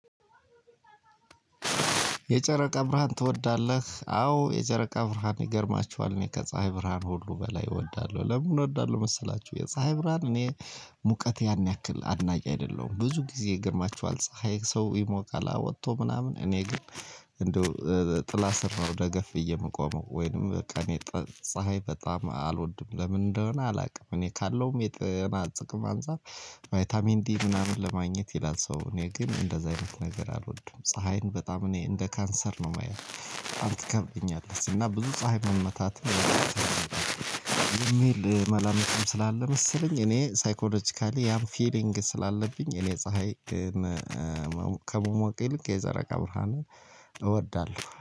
የጨረቃ ብርሃን ትወዳለህ አዎ የጨረቃ ብርሃን ይገርማችኋል እኔ ከፀሀይ ብርሃን ሁሉ በላይ እወዳለሁ። ለምን እወዳለሁ መሰላችሁ? የፀሀይ ብርሃን እኔ ሙቀት ያን ያክል አድናቂ አይደለሁም። ብዙ ጊዜ ይገርማችኋል ፀሀይ ሰው ይሞቃል። አዎ ወጥቶ ምናምን እኔ ግን እንደው ጥላ ስር ነው ደገፍ ብዬ የምቆመው። ወይንም በቃ እኔ ፀሀይ በጣም አልወድም። ለምን እንደሆነ አላውቅም። እኔ ካለውም የጤና ጥቅም አንፃር። ቫይታሚን ዲ ምናምን ለማግኘት ይላል ሰው እኔ ግን እንደዛ አይነት ነገር አልወድም። ፀሀይን በጣም እኔ እንደ ካንሰር ነው የማያት በጣም ይከብደኛል። እና ብዙ ፀሀይ መመታት የሚል መላምትም ስላለ መሰለኝ። እኔ ሳይኮሎጂካሊ ያም ፊሊንግ ስላለብኝ እኔ ፀሀይ ግን ከመሞቄ ይልቅ የፀረቃ ብርሃንን እወዳለሁ።